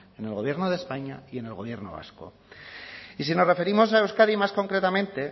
en el gobierno de españa y en el gobierno vasco y si nos referimos a euskadi más concretamente